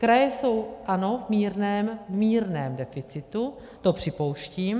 Kraje jsou, ano, v mírném deficitu, to připouštím.